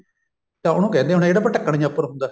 ਤਾਂ ਉਹਨੂੰ ਕਹਿੰਦੇ ਹੋਣੇ ਜਿਹੜਾ ਉੱਪਰ ਢੱਕਣ ਜਾ ਹੁੰਦਾ